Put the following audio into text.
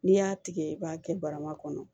N'i y'a tigɛ i b'a kɛ barama kɔnɔ